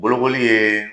Bolokoli ye